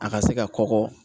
A ka se ka kɔkɔ